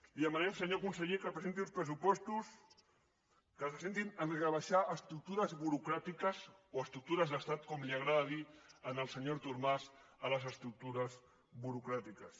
li demanem senyor conseller que presenti uns pressupostos que se centrin a rebaixar estructures burocràtiques o estructures d’estat com li agrada dir al senyor artur mas a les estructures burocràtiques